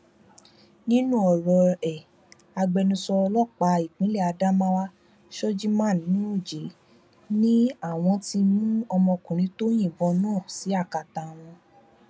nínú ọrọ ẹ agbẹnusọ ọlọpàá ìpínlẹ adamawa shojiman nuroje ni àwọn ti mú ọmọkùnrin tó yìnbọn náà sí akátá àwọn